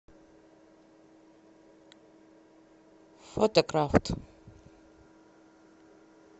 фотокрафт